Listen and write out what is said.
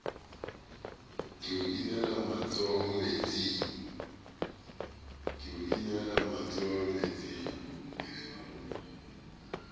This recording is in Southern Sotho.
ke o inele matsoho metsing